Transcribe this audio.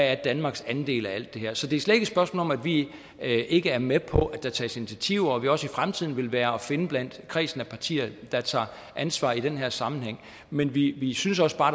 er danmarks andel af alt det her så det er slet spørgsmål om at vi ikke er med på at der tages initiativer og at vi også i fremtiden vil være at finde blandt kredsen af partier der tager ansvar i den her sammenhæng men vi vi synes også bare